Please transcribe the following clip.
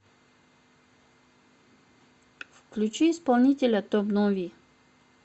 включи исполнителя том нови